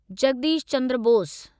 Jagdish Chandra Bose